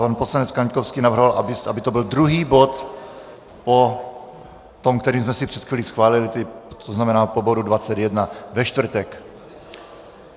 Pan poslanec Kaňkovský navrhoval, aby to byl druhý bod po tom, který jsme si před chvílí schválili, to znamená po bodu 21 ve čtvrtek.